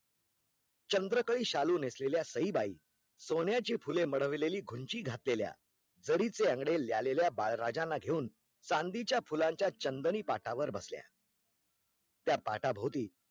चंद्रकडी शालू नेसलेल्या सईबाई सोण्याची फुले मडवलेली घुंची घातलेल्या जरी चे अंगडे लियालेल्या बाळराजाना घेऊन चांदीच्या फुलांच्या चंदनी पाटावर बसल्या त्या पाटाभोवती